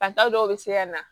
Fataw dɔw bɛ se ka na